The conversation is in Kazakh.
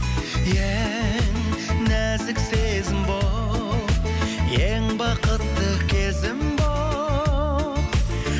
ең нәзік сезім болып ең бақытты кезім болып